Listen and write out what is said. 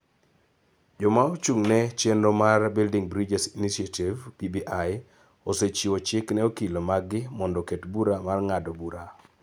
Joma ochung� ne chenro mar Building Bridges Initiative (BBI) osechiwo chik ne okil maggi mondo oket bura mar ng�ado bura .